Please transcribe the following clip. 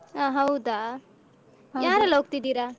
ಹ ಹೌದಾ ಯಾರೆಲ್ಲ ಹೋಗ್ತಿದೀರಾ?